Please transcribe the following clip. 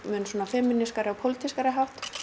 feminískan og pólitískan hátt